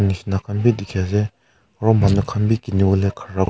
bisna khan b dikey ase aro manu khan b keniwo khara.